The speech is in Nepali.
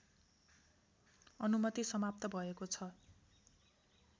अनुमति समाप्त भएको छ